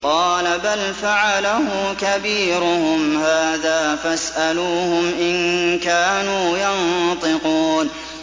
قَالَ بَلْ فَعَلَهُ كَبِيرُهُمْ هَٰذَا فَاسْأَلُوهُمْ إِن كَانُوا يَنطِقُونَ